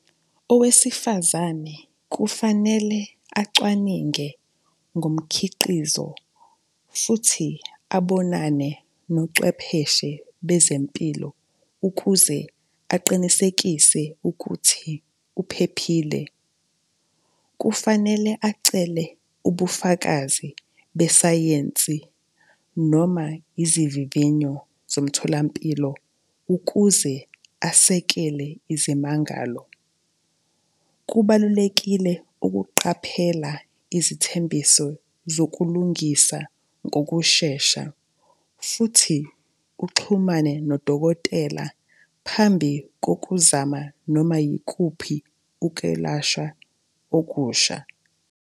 Owesifazane kufanele acwaninge ngomkhiqizo futhi abonane nocwepheshe bezempilo ukuze aqinisekise ukuthi uphephile. Kufanele acele ubufakazi besayensi noma izivivinyo zomtholampilo ukuze asekele izimangalo. Kubalulekile ukuqaphela izithembiso zokulungisa ngokushesha futhi uxhumane nodokotela phambi kokuzama noma yikuphi ukelashwa okusha.